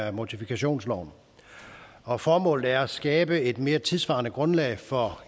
af mortifikationsloven og formålet er at skabe et mere tidssvarende grundlag for